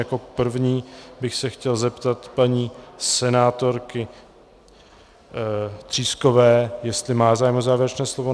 Jako první bych se chtěl zeptat paní senátorky Třískové, jestli má zájem o závěrečné slovo.